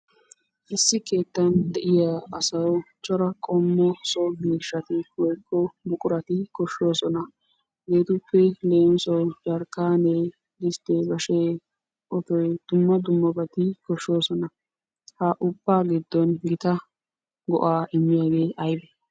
Issi keettan de'iya asawu cora qommo so miishshati woykko buqurati koshshoosona. Hegeetuppe leemisuwawu jarkkaanee, disttee, bashee, otoy dumma dummati koshshoosona. Ha ubbaa giddon gita go'aa immiyagee aybee?